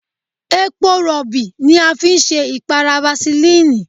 Epo Rọ̀bì ni a fi ṣe ìpara fasilínìì.